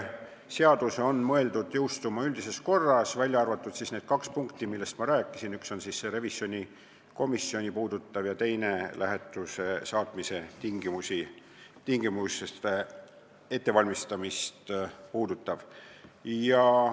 Seadus on mõeldud jõustuma üldises korras, välja arvatud need kaks punkti, millest ma rääkisin – üks puudutab revisjonikomisjoni ja teine lähetusse saatmise tingimuste ettevalmistamist.